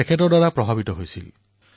তেওঁ হৰিদ্বাৰৰ পবিত্ৰ ভূমিলৈ যাত্ৰা কৰিছিল